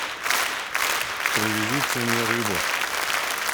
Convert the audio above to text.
привезите мне рыбы